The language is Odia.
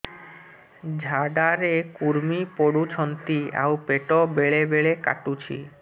ଝାଡା ରେ କୁର୍ମି ପଡୁଛନ୍ତି ଆଉ ପେଟ ବେଳେ ବେଳେ କାଟୁଛି